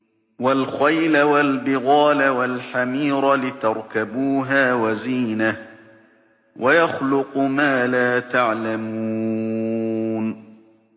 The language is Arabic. وَالْخَيْلَ وَالْبِغَالَ وَالْحَمِيرَ لِتَرْكَبُوهَا وَزِينَةً ۚ وَيَخْلُقُ مَا لَا تَعْلَمُونَ